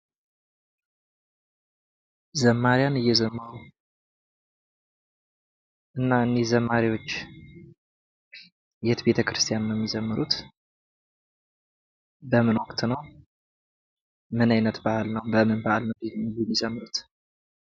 ዘማሪያን እየዘመሩ እና እኒህ ዘማሪዎች የት ቤተክርስቲያን ነው የሚዘምሩት? በምን ወቅት ነው? ምን አይነት በዓል ነው በምን በዓል ነው የሚዘምሩት።